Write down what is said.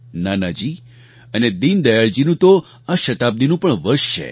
નાનાજી અને દીનદયાળજીનું તો આ શતાબ્દીનું પણ વર્ષ છે